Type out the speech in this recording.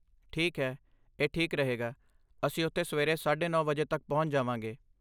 ਠੀਕ ਹੈ, ਇਹ ਠੀਕ ਰਹੇਗਾ, ਅਸੀਂ ਉੱਥੇ ਸਵੇਰੇ ਸਾਢੇ ਨੌ ਵਜੇ ਤੱਕ ਪਹੁੰਚ ਜਾਵਾਂਗੇ